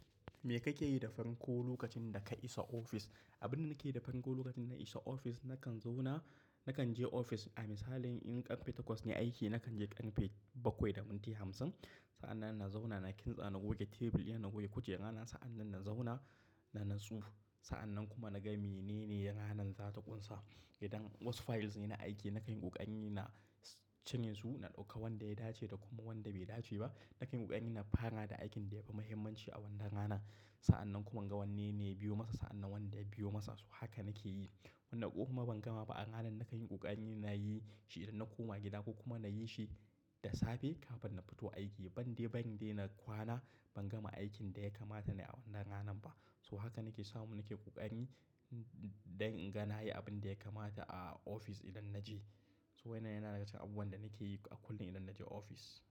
Me kake yi da farko lokacin da ka isa ofis? Abin da nake yi da farko lokacin na isa ofis, nakan zauna, nakan je ofis. A misali in ƙarfe takwas ne aiki, nakan je ƙarfe bakwai da minti hamsin. Sa'an nan na zauna, na kintsa, na goge tebil yana, na goge kujera na. Sa'an nan na zauna, na natsu. Sa'an nan kuma naga menene ranar za ta ƙunsa. Idan wasu files ne na aiki, na kan yi ƙoƙari na cinye su, na ɗauka wanda ya dace da kuma wanda bai dace ba. Na kayin ƙoƙari na fara da aikin da ya fi muhimmanci a wannan rana. Sa'an nan kuma in ga wanne ne biyo masa, sa'an nan wanda biyo masa, so haka nake yi. Wanda kuma ban gama ba a ranar, na kayin ƙoƙari na yi shi idan na koma gida ko kuma na yi shi da safe kafin na fito aiki. Ban dai, bari dai na kwana ban gama aikin da ya kamata nayi a wannan ranar ba. So haka nake samu nake ƙoƙari don in ga na yi abin da ya kamata a ofis idan na je. To wannan yana daga cikin abubuwan da nake yi a kullum idan na je ofis.